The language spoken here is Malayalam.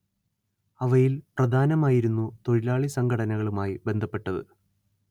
അവയിൽ പ്രധാനമായിരുന്നു തൊഴിലാളി സംഘടനകളുമായി ബന്ധപ്പെട്ടത്